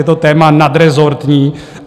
Je to téma nadrezortní.